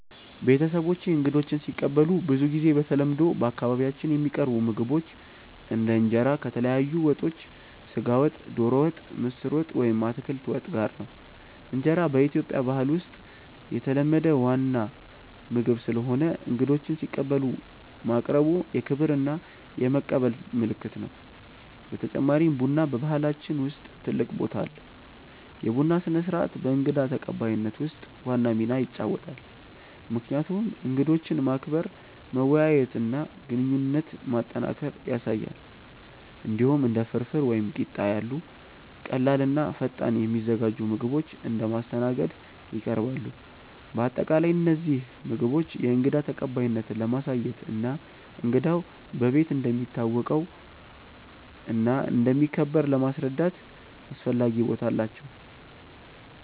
ቤተሰቦቼ እንግዶችን ሲቀበሉ ብዙ ጊዜ በተለምዶ በአካባቢያችን የሚቀርቡ ምግቦች እንደ እንጀራ ከተለያዩ ወጦች (ስጋ ወጥ፣ ዶሮ ወጥ፣ ምስር ወጥ ወይም አትክልት ወጥ) ጋር ነው። እንጀራ በኢትዮጵያ ባህል ውስጥ የተለመደ ዋና ምግብ ስለሆነ እንግዶችን ሲቀበሉ ማቅረቡ የክብር እና የመቀበል ምልክት ነው። በተጨማሪም ቡና በባህላችን ውስጥ ትልቅ ቦታ አለው፤ የቡና ስነ-ስርዓት በእንግዳ ተቀባይነት ውስጥ ዋና ሚና ይጫወታል፣ ምክንያቱም እንግዶችን ማክበር፣ መወያየት እና ግንኙነት ማጠናከር ያሳያል። እንዲሁም እንደ ፍርፍር ወይም ቂጣ ያሉ ቀላል እና ፈጣን የሚዘጋጁ ምግቦች እንደ ማስተናገድ ይቀርባሉ። በአጠቃላይ እነዚህ ምግቦች የእንግዳ ተቀባይነትን ለማሳየት እና እንግዳው በቤት እንደሚታወቀው እና እንደሚከበር ለማስረዳት አስፈላጊ ቦታ አላቸው።